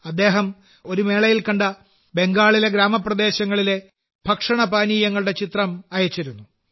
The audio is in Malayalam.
അദ്ദേഹം ഒരു മേളയിൽ കണ്ട ബംഗാളിലെ ഗ്രാമപ്രദേശങ്ങളിലെ ഭക്ഷണപാനീയങ്ങളുടെ ചിത്രം അയച്ചിരുന്നു